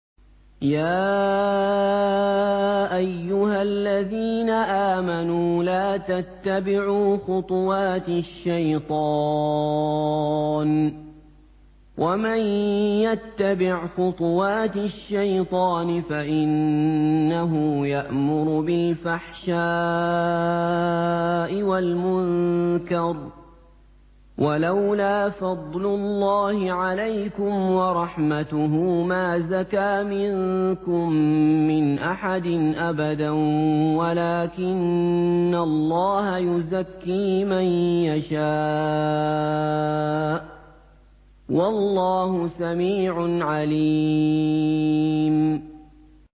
۞ يَا أَيُّهَا الَّذِينَ آمَنُوا لَا تَتَّبِعُوا خُطُوَاتِ الشَّيْطَانِ ۚ وَمَن يَتَّبِعْ خُطُوَاتِ الشَّيْطَانِ فَإِنَّهُ يَأْمُرُ بِالْفَحْشَاءِ وَالْمُنكَرِ ۚ وَلَوْلَا فَضْلُ اللَّهِ عَلَيْكُمْ وَرَحْمَتُهُ مَا زَكَىٰ مِنكُم مِّنْ أَحَدٍ أَبَدًا وَلَٰكِنَّ اللَّهَ يُزَكِّي مَن يَشَاءُ ۗ وَاللَّهُ سَمِيعٌ عَلِيمٌ